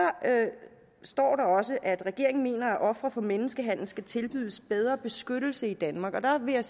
står der også at regeringen mener at ofre for menneskehandel skal tilbydes bedre beskyttelse i danmark og der vil jeg